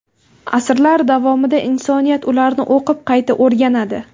Asrlar davomida insoniyat ularni o‘qib, qayta o‘rganadi.